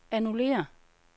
annullér